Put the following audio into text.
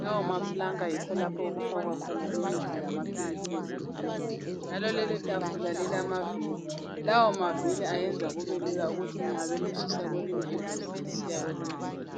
lawo maplanka yikho lapho okufakwa khona imithi lamaphilisi ezigulani njalo lelo tafula lilama viri lawo maviri ayenza kube ukuthi nxa belisusa kwelinye igumbi besiya kwelinye igumbi.